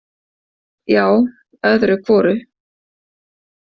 Já, öðru hvoru.